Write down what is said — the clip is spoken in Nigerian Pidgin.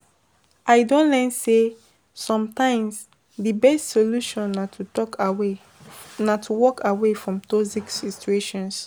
I don learn say, sometimes di best solution na to talk away na to walk away from toxic situations.